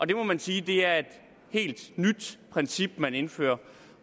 det må man sige er et helt nyt princip man indfører